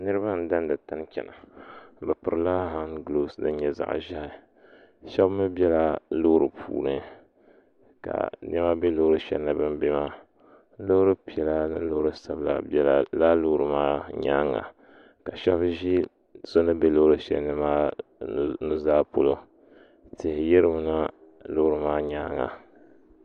Niriba n dan di tani n chana bi piri la hangobsi din nyɛ zaɣi ʒehi shɛba mi bɛ la loori puuni ka nɛma be loori shɛli puuni bini bɛ maa loori piɛlla ni loori sabila bɛla laa loori maa nyaaŋa ka shɛba zi so ni bɛ loori shɛli ni maa nu zaa polo tihi yiri mi na loori maa nyaaŋa